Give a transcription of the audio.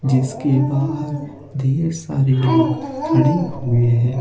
जिसके बाहर ढेर सारे लोग खड़े हुवे हैं।